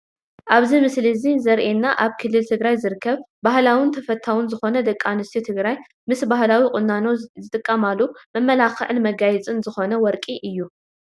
ኣብዚ ምስሊ እዚ ዘሪኤና ኣብ ክልል ትግራይ ዝርከብ ባህላውን ተፈታውን ዝኾነ ደቂ ኣንስትዮ ትግራይ ምስ ባህላዊ ቁናኖ ዝጥቀማሉ መመላኽዕን መጋየፅን ዝኾነ "ወርቂ" እዩ፡፡